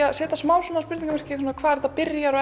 að setja smá svona spurningamerki við hvar þetta byrjar og